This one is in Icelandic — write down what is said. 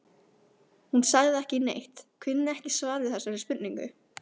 Hún sagði ekki neitt, kunni ekki svar við þessari spurningu.